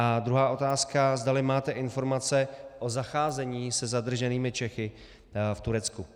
A druhá otázka, zdali máte informace o zacházení se zadrženými Čechy v Turecku.